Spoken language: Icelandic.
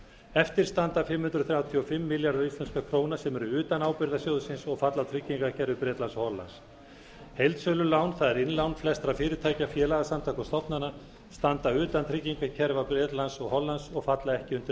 eftir standa um fimm hundruð þrjátíu og fimm milljarðar íslenskra króna sem eru utan ábyrgðar sjóðsins og falla á tryggingakerfi bretlands og hollands heildsölu lán það er innlán flestra félagasamtaka og stofnana standa utan tryggingakerfa bretlands og hollands og falla ekki undir